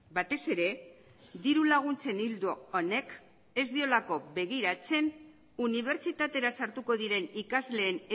batez ere diru laguntzen ildo honek ez diolako begiratzen unibertsitatera sartuko diren ikasleen